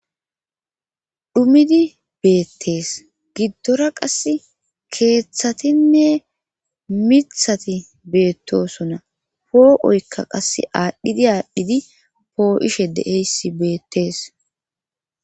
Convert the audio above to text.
Dhumidi beettees giddora qas keeththatinne mithati beettosona poo7oykka qas aadhdhidi aadhdhidi poo7ishe deeysi beettees